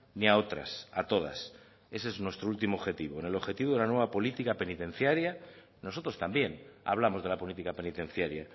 ni a otras a todas ese es nuestro último objetivo el objetivo de una nueva política penitenciaria nosotros también hablamos de la política penitenciaria